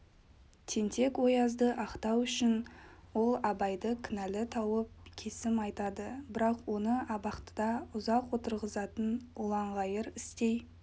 тентек-оязды ақтау үшін ол абайды кінәлі тауып кесім айтады бірақ оны абақтыда ұзақ отырғызатын ұлаңғайыр істей